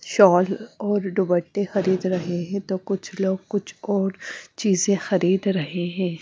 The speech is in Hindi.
शॉल और डुबट्टे खरीद रहें हैं तो कुछ लोग कुछ और चीजें खरीद रहें हैं।